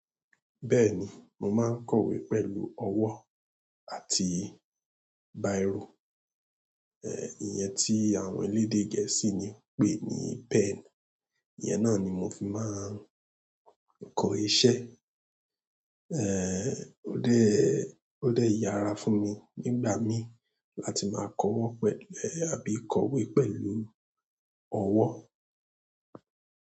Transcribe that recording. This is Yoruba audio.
Bẹ́ẹ̀ni, mo máa ń kọ̀wé pẹ̀lú ọwọ́ àti biro, ẹ, ìyẹn tí àwọn elédè gẹ̀ẹ́sì ni ó ń pè ní pen. Ìyẹn náà ni mo fi máa ń kọ iṣẹ́. Ẹ, ó dé, ó dé yara fún mi nígbà mí láti máa kọwọ́pẹ̀lẹ́ àbí kọ̀wé pẹ̀lú ọwọ́